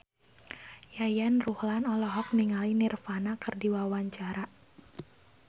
Yayan Ruhlan olohok ningali Nirvana keur diwawancara